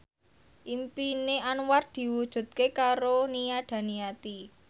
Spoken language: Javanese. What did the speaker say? impine Anwar diwujudke karo Nia Daniati